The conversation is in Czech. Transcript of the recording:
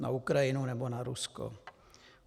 Na Ukrajinu, nebo na Rusko?